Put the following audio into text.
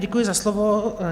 Děkuji za slovo.